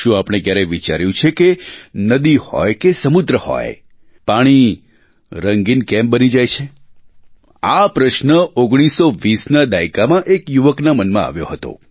શું આપણે ક્યારેય વિચાર્યું છે કે નદી હોય કે સમુદ્ર હોય પાણી રંગીન કેમ બની જાય છે આ પ્રશ્ન 1920ના દાયકામાં એક યુવકના મનમાં આવ્યો હતો